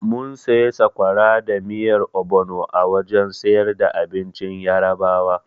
Mun sayi sakwara da miyar obono a wajen siyar da abincin Yarabawa.